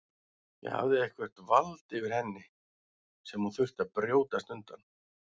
Hann hafði eitthvert vald yfir henni sem hún þurfti að brjótast undan.